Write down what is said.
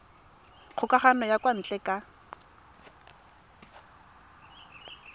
kgokagano ya kwa ntle ka